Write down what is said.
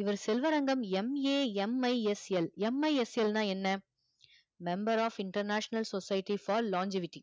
இவர் செல்வரங்கம் MAMISLMISL ன்னா என்ன member of international society for launchivity